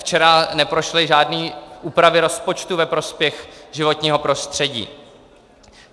Včera neprošly žádné úpravy rozpočtu ve prospěch životního prostředí.